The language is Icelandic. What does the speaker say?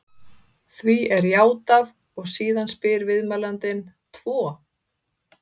Því er játað og síðan spyr viðmælandinn: Tvo?